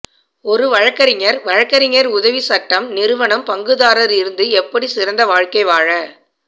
ஒரு வழக்கறிஞர் வழக்கறிஞர் உதவி சட்டம் நிறுவனம் பங்குதாரர் இருந்து எப்படி சிறந்த வாழ்க்கை வாழ